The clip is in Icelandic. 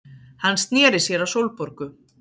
Hann sneri sér að Sólborgu.